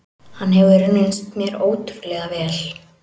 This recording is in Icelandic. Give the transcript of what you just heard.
Hann hefur reynst mér ótrúlega vel.